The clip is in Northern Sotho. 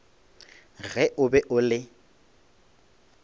ge o be o le